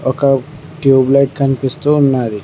ఒక tube light కనిపిస్తూ ఉన్నాది.